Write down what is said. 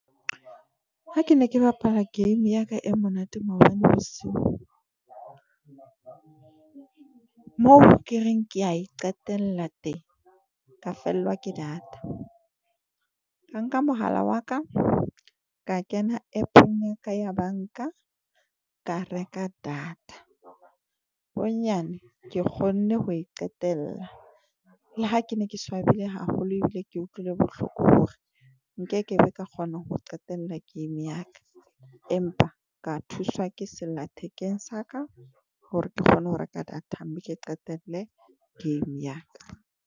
Ha ke ne ke bapala game ya ka e monate maobane bosiu mo ke reng ke a e qetella teng, ka fellwa ke data. Ka nka mohala wa ka, ka kena app-ong ya ka ya bank-a ka reka data. Bonyane ke kgonne ho e qetella, le ha ke ne ke swabile haholo ebile ke utlwile bohloko hore nkekebe ka kgona ho qetella game ya ka. Empa ka thuswa ke sella thekeng sa ka hore ke kgone ho reka data mme ke qetelle game ya ka.